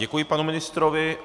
Děkuji panu ministrovi.